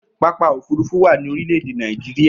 Pápákọ̀ òfúrufú wà ní orílẹ̀-èdè Nàìjíríà.